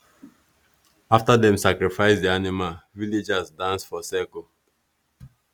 after dem sacrifice the animal villagers dance for circle.